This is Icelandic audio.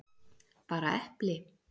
Bara epli?